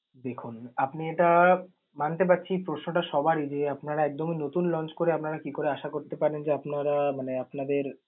দেখুন আপনি এটা মানতে পারছি প্রশ্ন টা সবারই যে, আপনারা একদমই নতুন launch করে মানে আপনারা কি করে আশা করতে পারেন যে আপনারা মানে আপনাদের